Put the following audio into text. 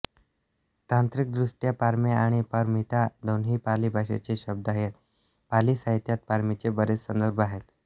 तांत्रिकदृष्ट्या पारमी आणि पारमिता दोन्ही पाली भाषेचे शब्द आहेत पाली साहित्यात पारमीचे बरेच संदर्भ आहेत